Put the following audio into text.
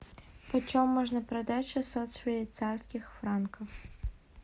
почем можно продать шестьсот швейцарских франков